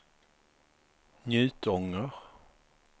Njutånger